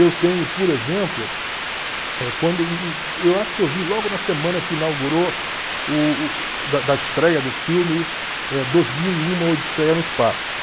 Eu tenho, por exemplo, eh quando... eu acho que eu vi logo na semana que inaugurou o da da estreia do filme eh Dois Mil e Um, Uma Odisseia no Espaço.